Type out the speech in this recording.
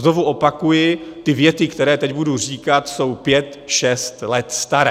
Znovu opakuji, ty věty, které teď budu říkat, jsou pět šest let staré.